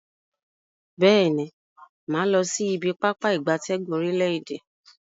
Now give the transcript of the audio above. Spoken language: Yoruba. Beeni, maa losi ibi Pápá ìgbatẹ́gùn orile-ede.